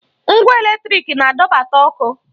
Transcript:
Ngwa èlétrị̀k na-adọbata ọkụ.